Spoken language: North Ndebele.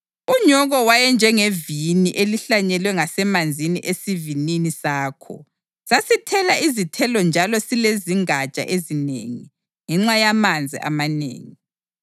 Unyoko wayenjengevini elihlanyelwe ngasemanzini esivinini sakho; sasithela izithelo njalo silezingatsha ezinengi ngenxa yamanzi amanengi.